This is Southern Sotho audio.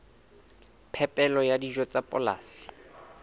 phepelo ya dijo tsa polasing